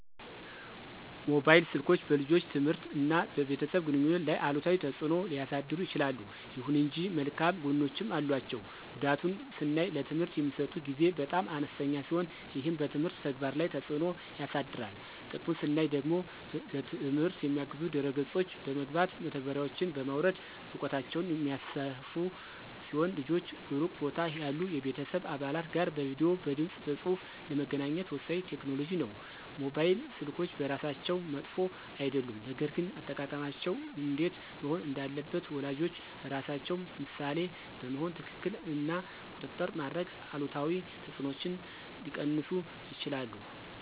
ሞባይል ስልኮች በልጆች ትምህርት እና በቤተሰብ ግንኙነት ላይ አሉታዊ ተጽዕኖ ሊያሳድሩ ይችላሉ። ይሁን እንጂ መልካም ጎኖችም አሏቸው። ጉዳቱን ስናይ ለትምህርት የሚሰጡት ጊዜ በጣም አነስተኛ ሲሆን ይህም በትምህርት ተግባር ላይ ተጽዕኖ ያሳድራል። ጥቅሙን ስናይ ደግሞ ለትምህርት የሚያግዙ ድህረ ገጾች በመግባት (መተግበሪያዎችን) በማውረድ እውቀታቸውን የሚያሰፉ ሲሆን ልጆች ሩቅ ቦታ ያሉ የቤተሰብ አባላት ጋር በቪዲዬ፣ በድምፅ በፁሁፍ ለመገናኘት ወሳኝ ቴክኖሎጂ ነው። ሞባይል ስልኮች በራሳቸው መጥፎ አይደሉም፣ ነገር ግን አጠቃቀማቸው እንዴት መሆን እንዳለበት ወላጆች ራሳቸው ምሳሌ በመሆን ክትትል እና ቁጥጥር በማድረግ አሉታዊ ተጽዕኖዎችን ሊቀንሱ ይችላሉ።